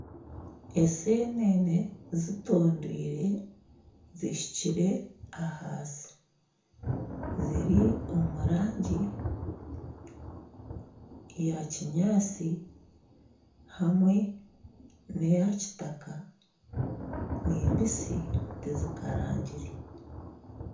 Eseenene zitondwire, zishukire ahansi, ziri omu rangi eya kinyaatsi hamwe n'eya kitaka ni mbisi tizikarangire